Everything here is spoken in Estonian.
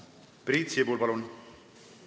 Priit Sibul, palun!